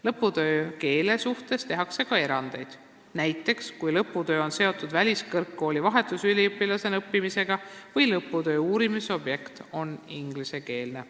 Lõputöö kirjutamisel kasutatavale keelele tehakse ka erandeid, näiteks kui lõputöö on seotud väliskõrgkoolis vahetusüliõpilasena õppimisega või kui töö uurimisobjekt on ingliskeelne.